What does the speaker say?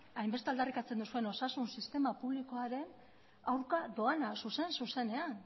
hainbeste aldarrikatzen duzuen osasun sistema publikoaren aurka doana zuzen zuzenean